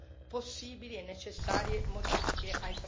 Molti hanno trattato il tema della democrazia.